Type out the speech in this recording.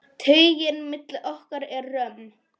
Taugin milli okkar er römm.